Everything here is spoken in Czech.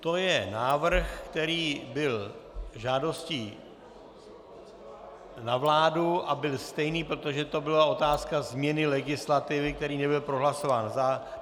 To je návrh, který byl žádostí na vládu a byl stejný, protože to byla otázka změny legislativy, který nebyl prohlasován.